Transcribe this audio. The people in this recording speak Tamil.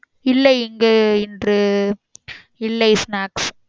இல்லை இங்கே இன்று இல்லை snacks